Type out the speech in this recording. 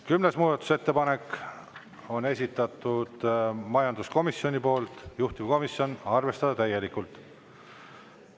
Kümnes muudatusettepanek on esitatud majanduskomisjoni poolt, juhtivkomisjon: arvestada täielikult.